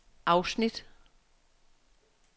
afsnit